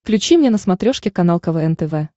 включи мне на смотрешке канал квн тв